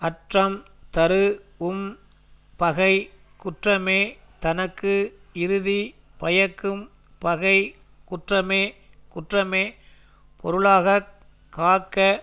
அற்றம் தருஉம் பகை குற்றமே தனக்கு இறுதி பயக்கும் பகை குற்றமே குற்றமே பொருளாக காக்க